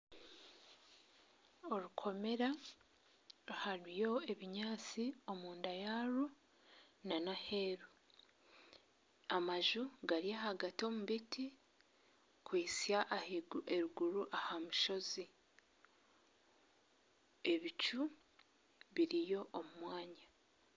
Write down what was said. Orukomera hariyo ebinyantsi omunda yarwo n'aheru amaju gari ahagati omubiti kuhisya eruguru ahamushozi ebicu biriyo omumwanya.